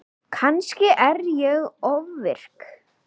Kannski er ég ofvirk.